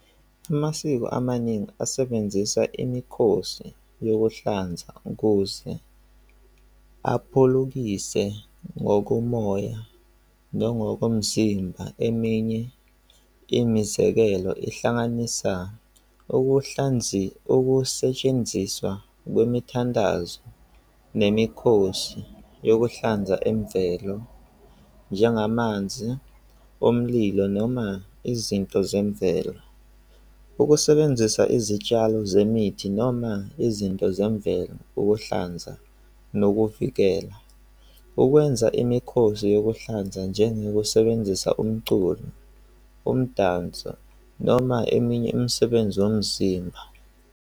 Amasiko amaningi asebenzisa imikhosi yokuhlanza ukuze aphulukise ngokomoya nongokomzimba. Eminye imizekelo ihlanganisa ukuhlanzi okusetshenziswa kwemithandazo nemikhosi yokuhlanza emvelo njengamanzi omlilo noma izinto zemvelo. Ukusebenzisa izitshalo zemithi noma izinto zemvelo, ukuhlanza nokuvikela. Ukwenza imikhosi yokuhlanza njengokusebenzisa umculo, umdanso noma eminye imsebenzi yomzimba.